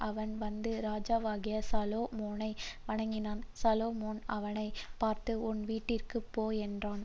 அவன் வந்து ராஜாவாகிய சாலொமோனை வணங்கினான் சாலொமோன் அவனை பார்த்து உன் வீட்டிற்குப்போ என்றான்